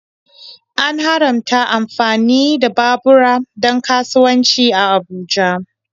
An haramta amfani da babura don kasuwanci a Abuja.